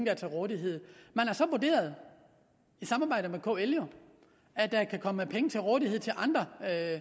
er til rådighed man har så vurderet i samarbejde med kl at der kan komme penge til rådighed til andre